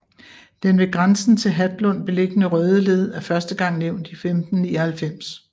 Den ved grænsen til Hatlund beliggende Rødeled er første gang nævnt 1599